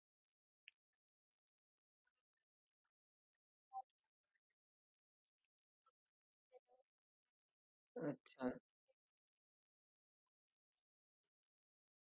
मग तशी process होऊन पुढे पुढे म्हणजे direct amazon चे delivery boy to तुमचं घर, अशी delivery होत नाही sir मध्ये कुठे जे काही amazon store असतील तिथं ते फिरतात